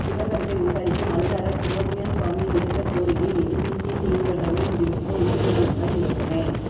சிதம்பரத்தை விசாரிக்க மனுதாரர் சுப்பிரமணியன் சுவாமி விடுத்த கோரிக்கை மீது சிபிஐ நீதிமன்றமே முடிவெடுக்க உச்ச நீதிமன்றம் யோசனை